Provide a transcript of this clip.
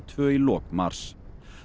tvær í lok mars